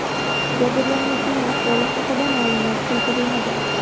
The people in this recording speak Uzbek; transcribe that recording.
Jabrlanuvchining ahvoli haqida ma’lumot keltirilmagan.